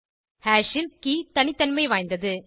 hash ல் key தனித்தன்மைவாய்ந்தது